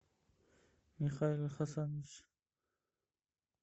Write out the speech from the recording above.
михаил хасанович